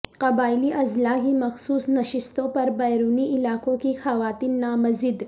قبائلی اضلاع کی مخصوص نشستوں پر بیرونی علاقوں کی خواتین نامزد